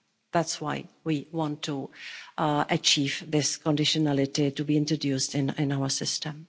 That's why we want to achieve this conditionality to be introduced in our system.